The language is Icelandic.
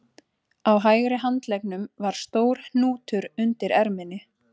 Á hægri handleggnum var stór hnútur undir erminni